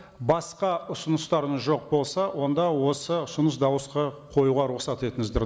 басқа ұсыныстарыңыз жоқ болса онда осы ұсыныс дауысқа қоюға рұқсат етіңіздер